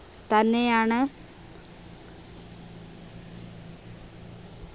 തന്നെയാണ്